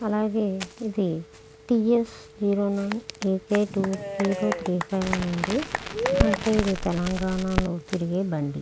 అలాగే ఇది T S zero nine A K three five అని ఉంది. అంటే ఇది తెలంగాణ లో తిరిగే బండి.